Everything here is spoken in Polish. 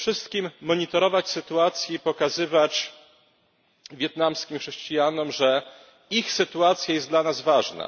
Przede wszystkim monitorować sytuację i pokazywać wietnamskim chrześcijanom, że ich sytuacja jest dla nas ważna.